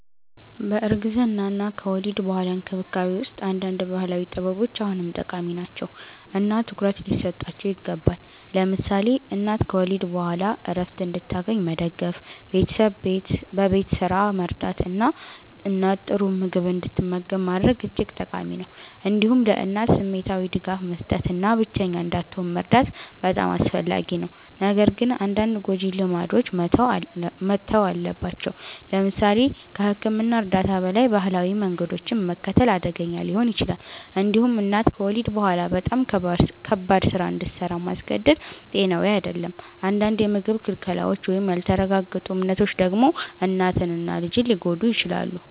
በእርግዝና እና ከወሊድ በኋላ እንክብካቤ ውስጥ አንዳንድ ባህላዊ ጥበቦች አሁንም ጠቃሚ ናቸው እና ትኩረት ሊሰጣቸው ይገባል። ለምሳሌ እናት ከወሊድ በኋላ ዕረፍት እንድታገኝ መደገፍ፣ ቤተሰብ በቤት ስራ መርዳት እና እናት ጥሩ ምግብ እንድትመገብ ማድረግ እጅግ ጠቃሚ ነው። እንዲሁም ለእናት ስሜታዊ ድጋፍ መስጠት እና ብቸኛ እንዳትሆን መርዳት በጣም አስፈላጊ ነው። ነገር ግን አንዳንድ ጎጂ ልማዶች መተው አለባቸው። ለምሳሌ ከሕክምና እርዳታ በላይ ባህላዊ መንገዶችን መከተል አደገኛ ሊሆን ይችላል። እንዲሁም እናት ከወሊድ በኋላ በጣም ከባድ ስራ እንድሰራ ማስገደድ ጤናዊ አይደለም። አንዳንድ የምግብ ክልከላዎች ወይም ያልተረጋገጡ እምነቶች ደግሞ እናትን እና ልጅን ሊጎዱ ይችላሉ።